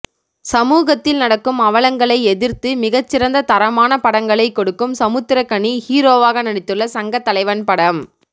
சமூகத்தில் நடக்கும் அவலங்களை எதிர்த்து மிகச்சிறந்த தரமான படங்களை கொடுக்கும் சமுத்திர கனி ஹீரோவாக நடித்துள்ள சங்கத்தலைவன் படம்